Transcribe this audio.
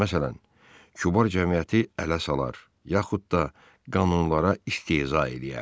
Məsələn, kübar cəmiyyəti ələ salar, yaxud da qanunlara istehza eləyərdi.